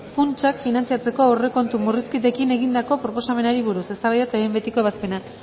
funtsak finantzatzeko aurrekontu murrizketekin egindako proposamenari buruz eztabaida eta behin betiko ebazpena